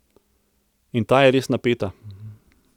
In ta je res napeta.